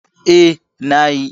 Eh, na yi